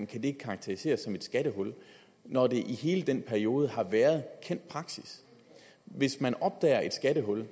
kan det karakteriseres som et skattehul når det i hele den periode har været en kendt praksis hvis man opdager et skattehul